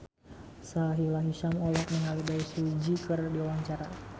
Sahila Hisyam olohok ningali Bae Su Ji keur diwawancara